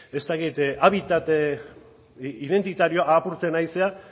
ez dakit habitat identitarioa apurtzen ari zara